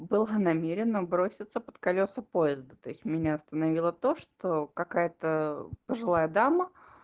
была намеренна броситься под колёса поезда то есть меня остановило то что какая-то пожилая дама